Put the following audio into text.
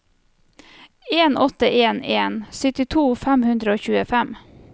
en åtte en en syttito fem hundre og tjuefem